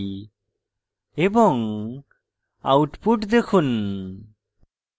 এবং output দেখুন